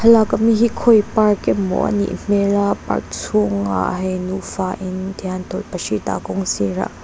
lak awm na hi khawi park emaw a nih hmel a park chhungah hei nufa in tihian tawlhpahrit a kawng sirah.